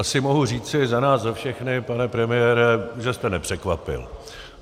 Asi mohu říci za nás za všechny, pane premiére, že jste nepřekvapil.